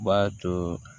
B'a to